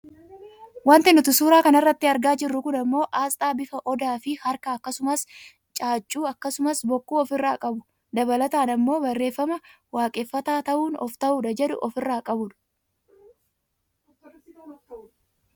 Wanti nuti suuraa kanarratti argaa jirru kun ammoo aasxaa bifa odaafi harka akkasumas caaccu akkasumas bokkuu of irraa qabu, dabalataan ammoo barreefama " waaqeffataa ta'uun of ta'uudha" jedhu ofirraa qabudha.